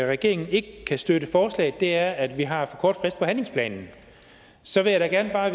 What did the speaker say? regeringen ikke kan støtte forslaget er at vi har for kort frist på handlingsplanen så vil jeg da bare